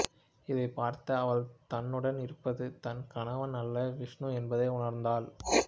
இதைப் பார்த்த அவள் தன்னுடன் இருப்பது தன் கணவன் அல்ல விஷ்ணு என்பதை உணர்ந்தாள்